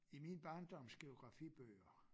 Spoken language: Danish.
I min barndoms geografibøger